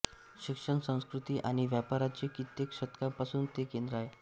शिक्षण संस्कृती आणि व्यापाराचे कित्येक शतकांपासून ते केंद्र आहे